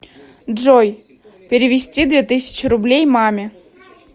джой перевести две тысячи рублей маме